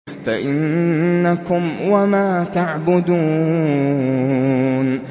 فَإِنَّكُمْ وَمَا تَعْبُدُونَ